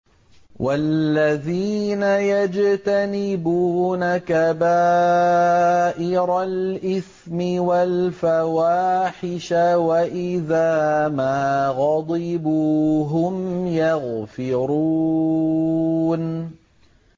وَالَّذِينَ يَجْتَنِبُونَ كَبَائِرَ الْإِثْمِ وَالْفَوَاحِشَ وَإِذَا مَا غَضِبُوا هُمْ يَغْفِرُونَ